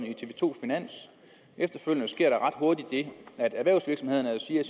i tv to finans efterfølgende sker der ret hurtigt det at erhvervsvirksomhederne siger